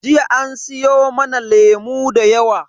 Jiya an siyo mana lemu da yawa.